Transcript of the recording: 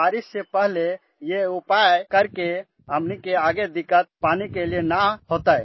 बारिश से पहले यह उपाय करके आने वाले समय में हमें पानी कि कमी नहीं होगी